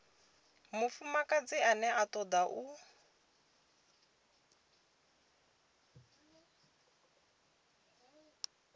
mufumakadzi ane a toda u